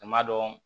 A ma dɔn